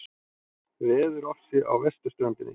Veðurofsi á vesturströndinni